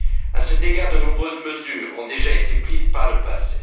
À cet égard, de nombreuses mesures ont déjà été prises par le passé.